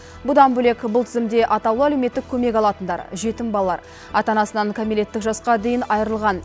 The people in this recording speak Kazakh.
бұдан бөлек бұл тізімде атаулы әлеуметтік көмек алатындар жетім балалар ата анасынан кәмелеттік жасқа дейін айырылған